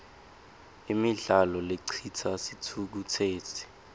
imidlalo lecitsa sitfukutseti